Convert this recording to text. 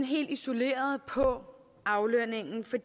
helt isoleret på aflønningen for